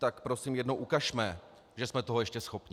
Tak prosím jednou ukažme, že jsme toho ještě schopni.